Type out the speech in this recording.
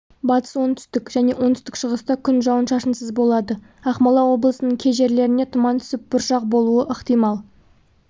батыс оңтүстік және оңтүстік-шығыста күн жауын-шашынсыз болады ақмола облысының кей жерлерінде тұман түсіп бұршақ болуы ықтимал